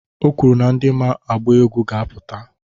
O kwuru na ndị ma agba egwu ga-apụta.